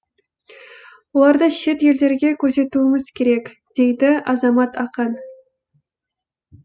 оларды шет елдерге көрсетуіміз керек дейді азамат ақан